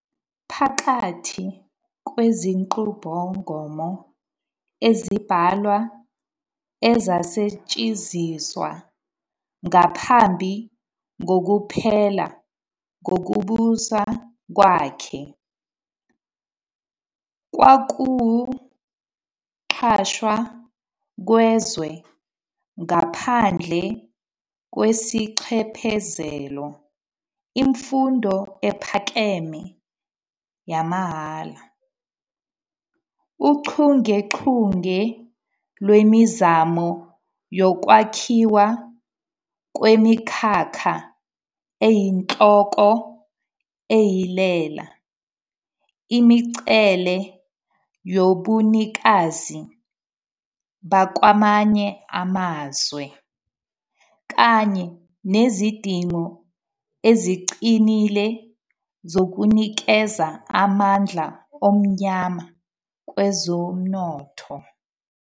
Phakathi kwezinqubomgomo ezimbalwa ezasetshenziswa ngaphambi kokuphela kokubusa kwakhe kwakuwukuqashwa kwezwe ngaphandle kwesinxephezelo, imfundo ephakeme yamahhala, uchungechunge lwemizamo yokwakhiwa kwemikhakha eyinhloko ehilela imingcele yobunikazi bakwamanye amazwe, kanye nezidingo eziqinile zokunikeza amandla omnyama kwezomnotho.